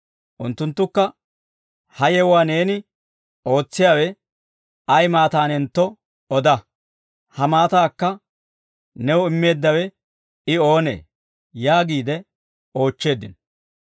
Unttunttukka, «Ha yewuwaa neeni ootsiyaawe ay maataanentto oda; ha maataakka new immeeddawe I oonee?» yaagiide oochcheeddino.